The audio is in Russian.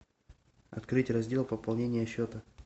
открыть раздел пополнение счета